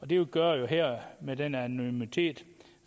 det gør jo her med den anonymitet